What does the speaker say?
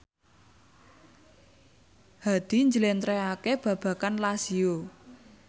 Hadi njlentrehake babagan Lazio